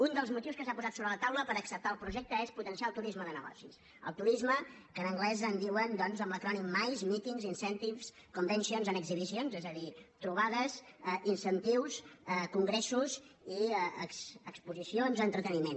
un dels motius que s’ha posat sobre la taula per acceptar el projecte és potenciar el turisme de negocis el turisme que en anglès en diuen doncs amb l’acrònim mice meetings incentives conventions and exhibitions és a dir trobades incentius congressos i exposicions entreteniment